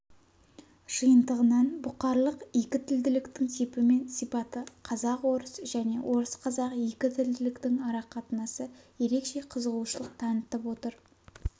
жиынтығынан бұқарлық екітілділіктің типі мен сипаты қазақ-орыс және орыс-қазақ екітілділіктің арақатынасы ерекше қызығушылық танытып отыр